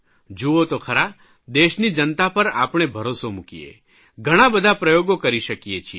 જૂઓ તો ખરા દેશની જનતા પર આપણે ભરોસો મૂકીએ ઘણા બધા પ્રયોગો કરી શકીએ છીએ